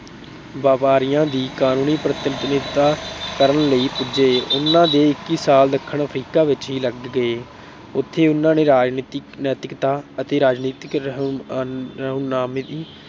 ਵਪਾਰੀਆਂ ਦੀ ਕਾਨੂੰਨੀ ਪ੍ਰਤਿਨਿਧਤਾ ਕਰਨ ਲਈ ਪੁੱਜੇ। ਉਹਨਾਂ ਦੇ ਇੱਕੀ ਸਾਲ ਦੱਖਣ ਅਫ਼ਰੀਕਾ ਵਿੱਚ ਹੀ ਲੱਗ ਗਏ। ਉਥੇ ਉਨ੍ਹਾਂ ਨੇ ਰਾਜਨੀਤੀ, ਨੈਤਿਕਤਾ ਅਤੇ ਰਾਜਨੀਤਿਕ ਰਹਿਨੁਮਾਈ